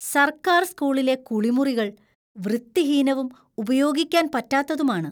സർക്കാർ സ്‌കൂളിലെ കുളിമുറികൾ വൃത്തിഹീനവും ഉപയോഗിക്കാൻ പറ്റാത്തതുമാണ്.